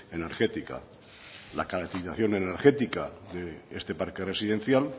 energética la caracterización energética de este parque residencial